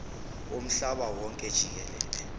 womhlaba wonke jikelele